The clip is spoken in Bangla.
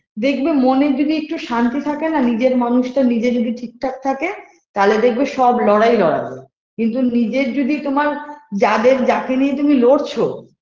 দেখবে মনে যদি একটু শান্তি থাকে না নিজের মানুষটা নিজে যদি ঠিক ঠাক থাকে তাহলে দেখবে সব লড়াই লড়া যায় কিন্তু নিজের যদি তোমার যাদের যাকে নিয়ে তুমি লড়ছ